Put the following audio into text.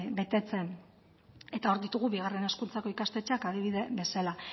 betetzen eta hor ditugu bigarren hezkuntzako ikastetxeak adibide bezala